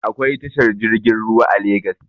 Akwai tashar jirgin ruwa a legas